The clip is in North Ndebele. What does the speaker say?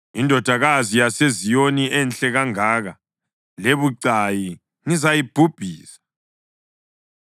Indodakazi yaseZiyoni enhle kangaka lebucayi ngizayibhubhisa.